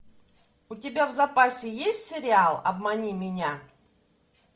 у тебя в запасе есть сериал обмани меня